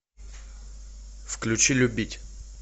включи любить